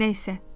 Nə isə.